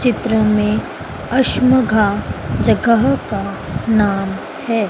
चित्र में अशमघा जगह का नाम है।